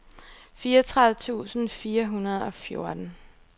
fireogtredive tusind fire hundrede og fjorten